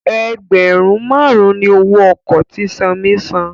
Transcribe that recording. ẹgbẹrun márùn ní owó oko tí Sanmi sàn.